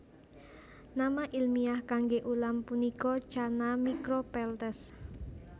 Nama ilmiah kangge ulam punika Channa micropeltes